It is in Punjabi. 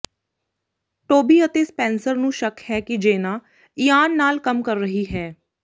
ਟੋਬੀ ਅਤੇ ਸਪੈਨਸਰ ਨੂੰ ਸ਼ੱਕ ਹੈ ਕਿ ਜੇਨਾ ਇਆਨ ਨਾਲ ਕੰਮ ਕਰ ਰਹੀ ਹੈ